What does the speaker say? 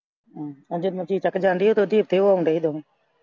ਅਜੇ ਮਸੀ ਤੱਕ ਜਾਂਦੀ ਏ ਤੇ ਉਹ ਉੱਥੇ ਆਉਣ ਡੇ ਦੋਵੇਂ।